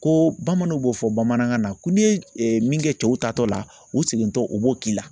Ko bamananw b'o fɔ bamanankan na ko n'i ye min kɛ cɛw ta tɔ la u segintɔ o b'o k'i la